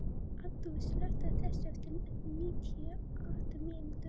Addú, slökktu á þessu eftir níutíu og átta mínútur.